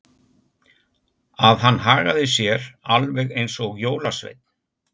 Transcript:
Að hann hagaði sér alveg eins og jólasveinn.